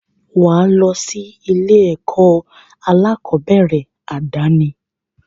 Wà á lọ sí ilé-ẹ̀kọ́ aláàkọ́bẹ̀rẹ̀ àdáni.